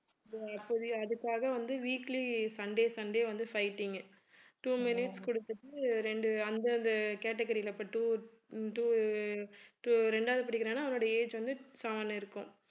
இப்போதைக்கு அதுக்காக வந்து weekly sunday sunday வந்து fighting உ two minutes கொடுத்துட்டு ரெண்டு அந்தந்த category ல இப்ப two two two ரெண்டாவது படிக்கிறானா அவனுடைய age வந்து seven இருக்கும்